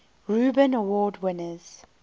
reuben award winners